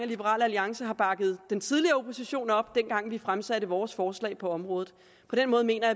liberal alliance har bakket den tidligere opposition op dengang vi fremsatte vores forslag på området på den måde mener